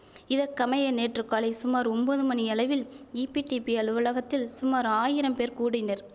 இதற்கமைய நேற்று காலை சுமார் ஒம்பது மணியளவில் ஈபிடிபி அலுவலகத்தில் சுமார் ஆயிரம் பேர் கூடினர்